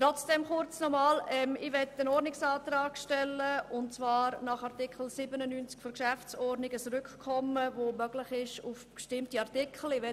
Trotzdem möchte ich nach Artikel 97 der Geschäftsordnung des Grossen Rates (GO) einen Ordnungsantrag auf Rückkommen stellen.